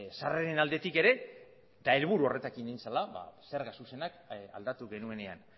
sarreren aldetik ere eta helburu horrekin egin zela zerga zuzenak aldatu genuenean